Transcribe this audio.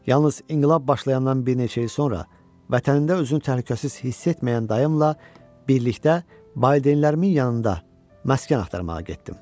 Yalnız inqilab başlayandan bir neçə il sonra, vətənində özünü təhlükəsiz hiss etməyən dayımla birlikdə valideynlərimin yanında məskən axtarmağa getdim.